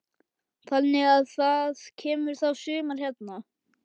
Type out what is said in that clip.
Þannig að það kemur þá sumar hérna.